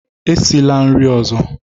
Esila isi nri ọzọ!